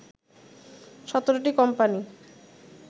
১৭টি কোম্পানি